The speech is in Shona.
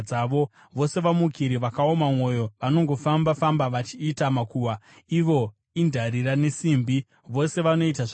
Vose vamukiri vakaoma mwoyo, vanongofamba-famba vachiita makuhwa. Ivo indarira nesimbi; vose vanoita zvakaora.